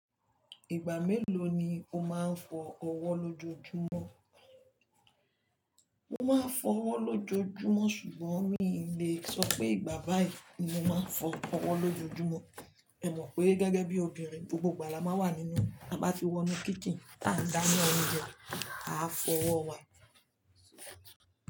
Ìgbà mélòó ni o máa ń fọ ọwọ́ lójoojúmọ́? Mo máa ń fọ ọwọ́ lójoojúmọ́ ṣùgbọ́n mi lè sọ pé ìgbà báàì ni mo máa ń fọ ọwọ́ lójoojúmọ́. Ẹ mọ̀ pé gẹ́gẹ́ bí obìnrin gbogbo ìgbà la máa ń wà nínú, a bá fi wọnú kítin tá ń dáná oúnjẹ, a fọ ọwọ́ wa.